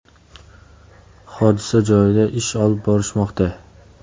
Hodisa joyida ish olib borishmoqda.